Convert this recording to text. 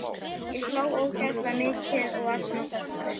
Ég hló ógeðslega mikið og var svona töffari.